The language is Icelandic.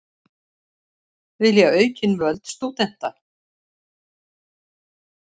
Vilja aukin völd stúdenta